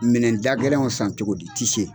Minɛdagɛlɛnw san cogo di i tɛ se.